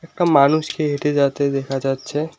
একটা মানুষকে হেঁটে যাতে দেখা যাচ্ছে।